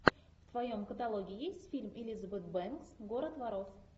в твоем каталоге есть фильм элизабет бэнкс город воров